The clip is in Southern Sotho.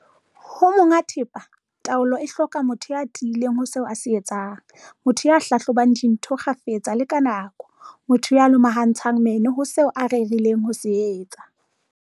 Ho monga thepa, taolo e hloka motho ya tiileng ho seo a se etsang, motho ya hlahlobang dintho kgafetsa le ka nako, motho ya lomahantseng meno ho seo a rerileng ho se etsa.